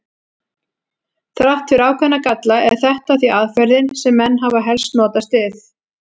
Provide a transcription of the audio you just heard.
Þrátt fyrir ákveðna galla er þetta því aðferðin sem menn hafa helst notast við.